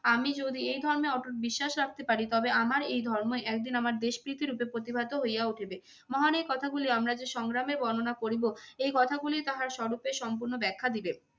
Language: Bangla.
আমি যদি এই ধর্মে অটুট বিশ্বাস রাখতে পারি তবে আমার এই ধর্মই একদিন আমার দেশ প্রীতি রূপে প্রতিভাত হইয়া উঠিবে। মহান এই কথাগুলি আমরা যে সংগ্রামে বর্ণনা করিব এই কথাগুলি তাহার স্বরূপের সম্পূর্ণ ব্যাখ্যা দিবে।